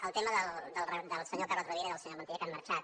el tema del senyor carod rovira i del senyor montilla que han marxat